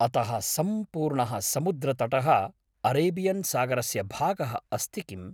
अतः सम्पूर्णः समुद्रतटः अरेबियन्सागरस्य भागः अस्ति किम्?